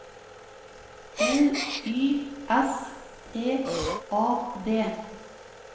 L Y S T A D